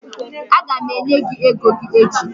A gam enye gị ego gị echi